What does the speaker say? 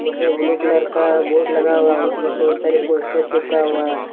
उसमे blue colour का board लगा हुआ उसमें बहुत सारे पोस्टर चिपका हुआ है।